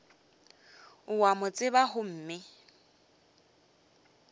o a mo tseba gomme